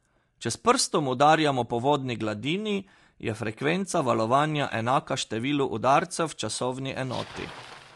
Če s prstom udarjamo po vodni gladini, je frekvenca valovanja enaka številu udarcev v časovni enoti.